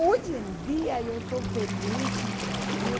Hoje em dia eu sou feliz no Brasil.